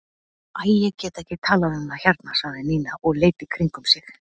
Æ, ég get ekki talað um það hérna sagði Nína og leit í kringum sig.